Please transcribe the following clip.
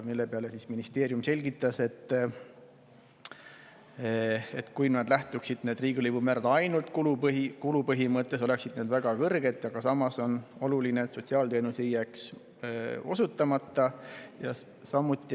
Selle peale ministeerium selgitas, et kui riigilõivumäärad lähtuksid ainult kulupõhimõttest, oleksid need väga kõrged, aga samas on oluline, et sotsiaalteenus ei jääks osutamata.